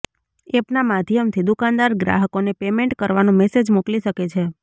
એપના માધ્યમથી દુકાનદાર ગ્રાહકોને પેમેન્ટ કરવાનો મેસેજ મોકલી શકે છે